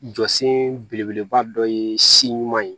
Jɔsen belebeleba dɔ ye si ɲuman ye